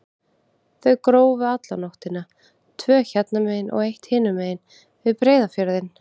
Þau grófu alla nóttina, tvö hérna megin og eitt hinum megin, við Breiðafjörðinn.